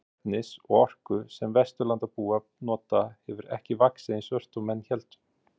Magn efnis og orku sem Vesturlandabúar nota hefur ekki vaxið eins ört og menn héldu.